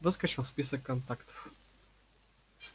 выскочил в список контактов